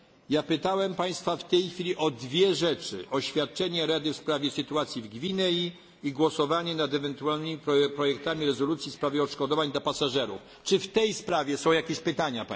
Ja pytałem państwa w tej chwili o dwie rzeczy oświadczenie Rady w sprawie sytuacji w Gwinei i głosowanie nad ewentualnymi projektami rezolucji w sprawie odszkodowań dla pasażerów. Czy w tej sprawie są jakieś pytania?